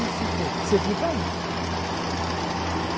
Um e cinquenta. Você fica aí. Um e cinquenta.